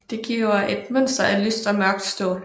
Det giver et mønster af lyst og mørkt stål